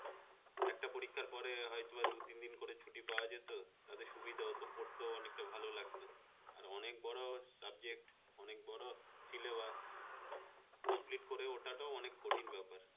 একটা পরীক্ষার পরে হয়তো বা দুই তিন দিন করে ছুটি পাওয়া যেত, তাতে সুবিধা হতো পড়তে অনেকটা ভালো লাগতো আর অনেক বড় subject অনেক বড় সিলেবা complete করে ওঠাটাও একটা কঠিন ব্যাপার